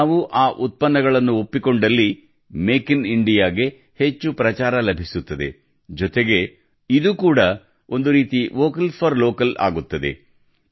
ನಾವು ಆ ಉತ್ಪನ್ನಗಳನ್ನು ಒಪ್ಪಿಕೊಂಡಲ್ಲಿ ಮೇಕ್ ಇನ್ ಇಂಡಿಯಾಗೆ ಹೆಚ್ಚು ಪ್ರಚಾರ ಲಭಿಸುತ್ತದೆ ಜೊತೆಗೆ ಇದು ಕೂಡ ಒಂದು ರೀತಿ ವೋಕಲ್ ಫಾರ್ ಲೋಕಲ್ ಆಗುತ್ತದೆ